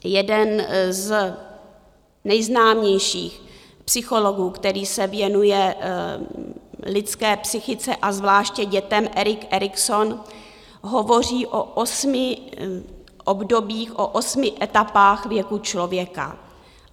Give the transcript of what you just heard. Jeden z nejznámějších psychologů, který se věnuje lidské psychice a zvláště dětem, Erik Erikson, hovoří o osmi obdobích, o osmi etapách věku člověka.